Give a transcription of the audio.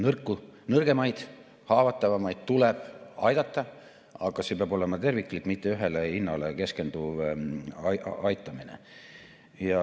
Nõrku, nõrgemaid, haavatavamaid tuleb aidata, aga see peab olema terviklik, mitte ühele hinnale keskenduv aitamine.